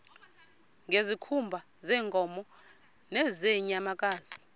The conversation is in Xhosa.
ngezikhumba zeenkomo nezeenyamakazi